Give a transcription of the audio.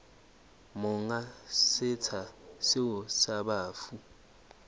monga setsha seo sa bafu